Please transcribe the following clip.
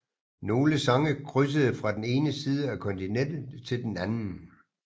Nogle sange krydsede fra den ene side af kontinentet til den anden